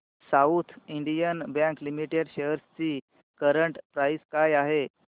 south Indian bank limited shares ची current price काय आहे